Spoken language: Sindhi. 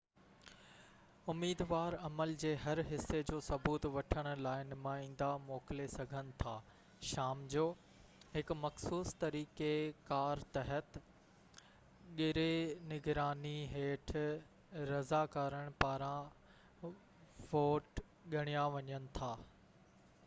اميدوار عمل جي هر حصي جو ثبوت وٺڻ لاءِ نمائيندا موڪلي سگهن ٿا شام جو هڪ مخصوص طريقي ڪار تحت ڳري نگراني هيٺ رضاڪارن پاران ووٽ ڳڻيا وڃن ٿا